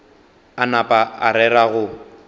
a napa a rera go